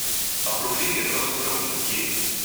A problem je pravzaprav drugje.